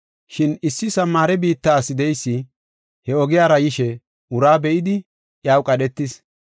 Shin, issi Samaare biitta ase de7eysi he ogiyara yishe uraa be7idi iyaw qadhetis